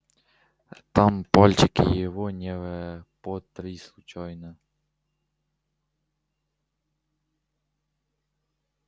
там пальчики его не потри случайно